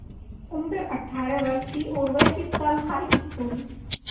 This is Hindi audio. उम्र अठ्ठारह वर्ष थी और वह इस साल हाईस्कूल